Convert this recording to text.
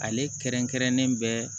Ale kɛrɛnkɛrɛnnen bɛɛ